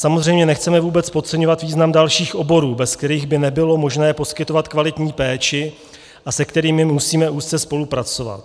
Samozřejmě nechceme vůbec podceňovat význam dalších oborů, bez kterých by nebylo možné poskytovat kvalitní péči a se kterými musíme úzce spolupracovat.